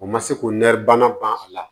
O ma se k'o nɛri banna ban a la